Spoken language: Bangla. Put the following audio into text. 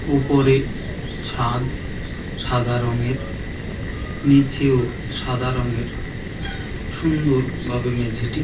ওপরে ছাদ সাদা রঙের নীচেও সাদা রঙের সুন্দরভাবে মেঝেটি।